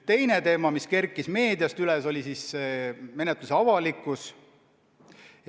Teine teema, mis meediast üles kerkis, on menetluse avalikkus.